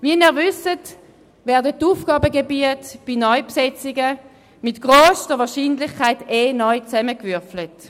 Wie Sie wissen, werden die Aufgabengebiete bei Neubesetzungen mit grösster Wahrscheinlichkeit sowieso neu zusammengewürfelt.